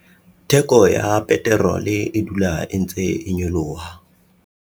theko ya peterole e dula e ntse e nyoloha